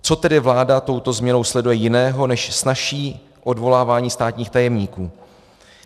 Co tedy vláda touto změnou sleduje jiného než snazší odvolávání státních tajemníků?